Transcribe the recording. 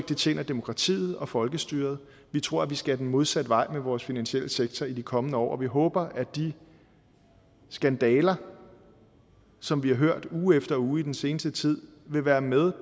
det tjener demokratiet og folkestyret vi tror at vi skal den modsatte vej med vores finansielle sektor i de kommende år og vi håber at de skandaler som vi har hørt uge efter uge i den seneste tid vil være med